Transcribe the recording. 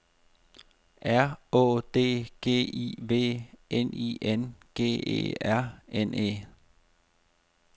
R Å D G I V N I N G E R N E